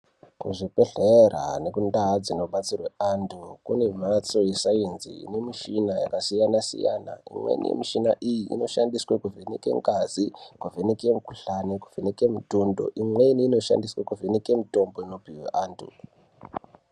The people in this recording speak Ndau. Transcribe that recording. Kuzvibhedhlera nekundaa dzinobatsirwa antu kune mhatso yesainzi inemichina yakasiyana-siyana. Imweni yemichina iyi inoshandiswe kuvheneka ngazi, kuvheneke mikuhlani, kuvheneke mutundo, imweni inoshandiswa kuvheneke mitombo inopihwa antu.